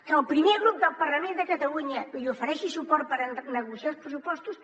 que el primer grup del parlament de catalunya li ofereixi suport per negociar els pressupostos